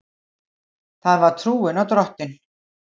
Það var trúin á Drottin.